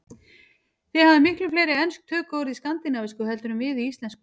Þið hafið miklu fleiri ensk tökuorð í skandinavísku heldur en við í íslensku.